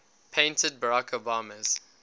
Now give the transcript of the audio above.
painted barack obama's